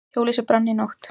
Hjólhýsi brann í nótt